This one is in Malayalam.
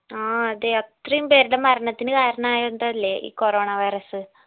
ആ അതെ അത്രേം പേരുടെ മരണത്തിനു കരണയതല്ലേ ഈ corona virus